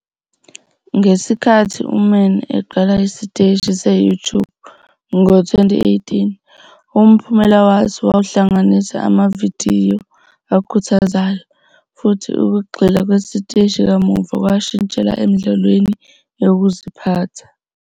Ngesikhathi uMann eqala isiteshi se-YouTube ngo-2018, umphumela waso wawuhlanganisa amavidiyo akhuthazayo, futhi ukugxila kwesiteshi kamuva kwashintshela emidlalweni yokuziphatha.